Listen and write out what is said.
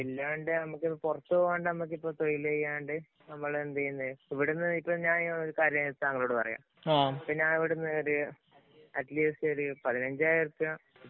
അതില്ലാണ്ട് നമ്മക്ക് പൊറത്ത് പോകാണ്ട് നമുക്കിപ്പം തൊഴില് ചെയ്യാണ്ട് നമ്മള് എന്ത് ചെയ്യുന്നേ. ഇപ്പം ഇവിടുന്നു ഞാനിങ്ങനെ ഒരു കാര്യം താങ്കളോട് പറയുകാ.അറ്റ്‌ലീസ്റ്റ് ഒരു പതിനഞ്ചായിരം ഉറുപ്പിക